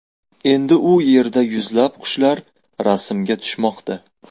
Endi u yerda yuzlab qushlar rasmga tushmoqda .